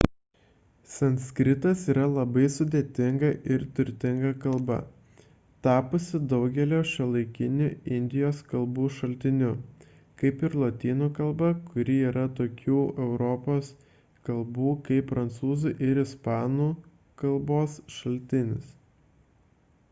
sanskritas yra labai sudėtinga ir turtinga kalba tapusi daugelio šiuolaikinių indijos kalbų šaltiniu kaip ir lotynų kalba kuri yra tokių europos kalbų kaip prancūzų ir ispanų k. šaltinis